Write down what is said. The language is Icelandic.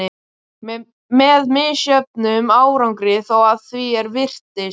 Með misjöfnum árangri þó, að því er virtist.